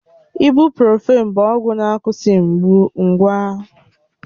Ibụ́profị́n bụ ọgwụ na-akwụsị mgbu ngwa